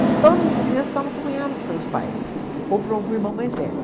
Porque todas as crianças estavam acompanhadas pelos pais ou por algum irmão mais velho.